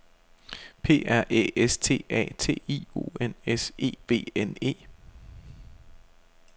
P R Æ S T A T I O N S E V N E